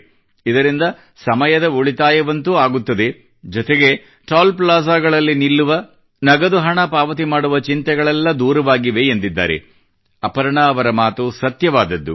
ಇದರಿಂದ ಸಮಯದ ಉಳಿತಾಯವಂತೂ ಆಗುತ್ತದೆ ಜತೆಗೇ ಟೋಲ್ ಪ್ಲಾಜಾಗಳಲ್ಲಿ ನಿಲ್ಲುವ ನಗದು ಹಣ ಪಾವತಿ ಮಾಡುವ ಚಿಂತೆಗಳೆಲ್ಲ ದೂರವಾಗಿವೆ ಎಂದಿದ್ದಾರೆ ಅಪರ್ಣಾ ಅವರ ಮಾತು ಸತ್ಯವಾದದ್ದು